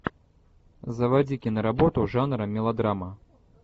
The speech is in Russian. заводи киноработу жанра мелодрама